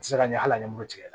se ka ɲɛ al'a nimoro tigɛ